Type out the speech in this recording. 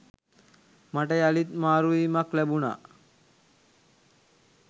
මට යළිත් මාරුවීමක් ලැබුණා.